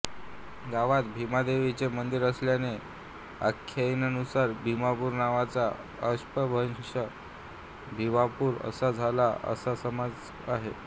गावात भिमादेवी चे मंदीर असल्याने आख्याइकेनुसार भिमापुर नावाचा अपभ्रंश भिवापूर असा झाला असा समज आहे